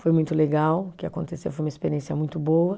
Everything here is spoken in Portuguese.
Foi muito legal o que aconteceu, foi uma experiência muito boa.